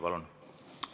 Palun!